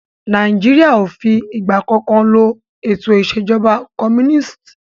Nàìjíríà o fí ìgbà kankan lo ètò ìṣèjọba comúnìstì.